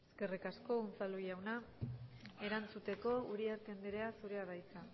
eskerrik asko unzalu jauna erantzuteko uriarte andrea zurea da hitza